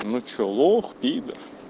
ну что лох пидр